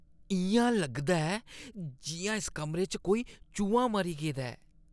इʼयां लगदा ऐ जिʼयां इस कमरे च कोई चूहा मरी गेदा ऐ।